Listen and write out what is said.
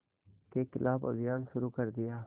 के ख़िलाफ़ अभियान शुरू कर दिया